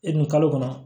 E dun kalo kɔnɔ